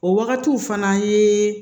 O wagatiw fana ye